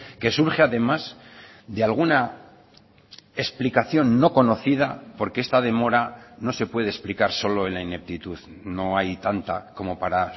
que surge además de alguna explicación no conocida porque esta demora no se puede explicar solo en la ineptitud no hay tanta como para